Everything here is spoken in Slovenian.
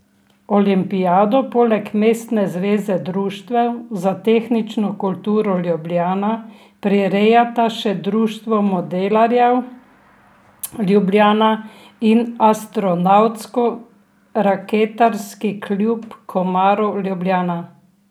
Olimpijado poleg Mestne zveze društev za tehnično kulturo Ljubljana prirejata še Društvo modelarjev Ljubljana in Astronavtsko raketarski klub Komarov Ljubljana.